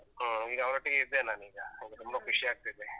ಹಾ, ಈಗ ಅವರೊಟ್ಟಿಗೇ ಇದ್ದೇನ್ ನಾನೀಗ, ತುಂಬಾ ಖುಷಿಯಾಗ್ತಿದೆ.